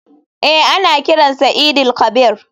Eh ana kiran sa eid il kabir.